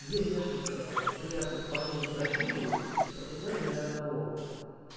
здесь несколько приятных парней из бразилии в португалии ни одного